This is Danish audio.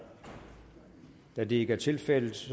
da det ikke er tilfældet